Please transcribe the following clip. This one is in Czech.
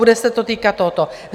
Bude se to týkat tohoto.